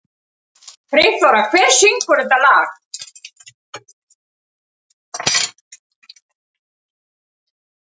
Friðþóra, hver syngur þetta lag?